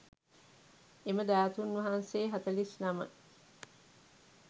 එම ධාතූන් වහන්සේ හතළිස් නම